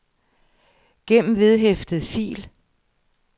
gem vedhæftet fil